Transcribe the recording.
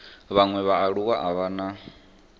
vhaṅwe vhaaluwa a vha na